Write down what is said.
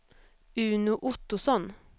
Uno Ottosson